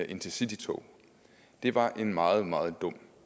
intercitytog var en meget meget dum